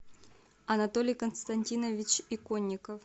анатолий константинович иконников